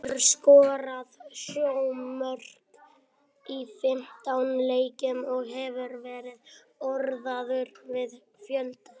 Hann hefur skorað sjö mörk í fimmtán leikjum og hefur verið orðaður við fjölda stórliða.